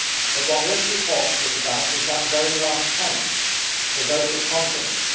But what this report was about was that very last point the vote of confidence.